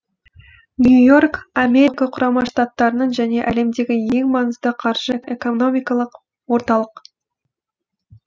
нью йорк америка құрама штаттарының және әлемдегі ең маңызды қаржы экономикалық орталық